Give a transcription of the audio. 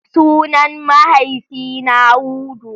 Sunan mahaifina Hudu.